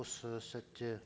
осы сәтте